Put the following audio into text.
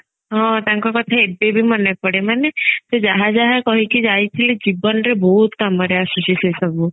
ହଁ ଆତଙ୍କ କଥା ଏବେବି ମନେ ପଡେ ମାନେ ସେ ଯାହା ଯାହା କହିକି ଯାଇଥିଲେ ଜୀବନରେ ବହୁତ କାମରେ ଆସୁଛି ସେ ସବୁ